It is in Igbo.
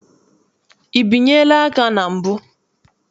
I binyela aka na mbụ?